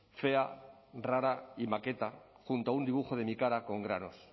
fea rara y maketa junto a un dibujo de mi cara con granos